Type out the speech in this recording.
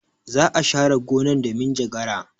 Za a share gonan da minjagara.